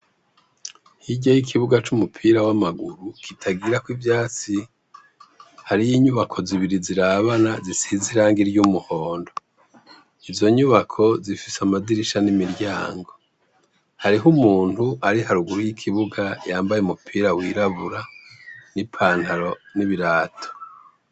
Hirya y'ikibuga c'umupira w'amaguru kitagira k'ivyatsi, har'inyubako zibiri zirabana zisizee irangi ry'umuhondo. Izo nyubako zifise amadirisha n'imiryango. Harih'umuntu ari haruguru y'ikibuga yambaye umupira w'irabura n' ipantaro n'ibirato.